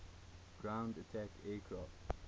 ground attack aircraft